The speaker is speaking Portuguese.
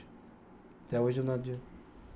Até hoje eu não